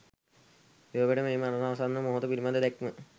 යුරෝපයට මේ මරණාසන්න මොහොත පිළිබඳ දැක්ම